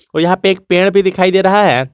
यहां पे एक पेड़ भी दिखाई दे रहा है।